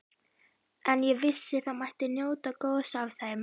En ég vissi að það mætti njóta góðs af þeim.